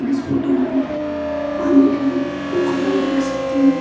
इस फोटो में पानी का एक पोखरा देख सकते हैं।